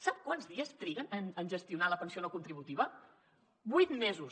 sap quants dies triguen en gestionar la pensió no contributiva vuit mesos